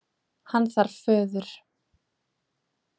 Hann þarf föður.